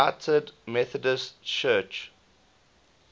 united methodist church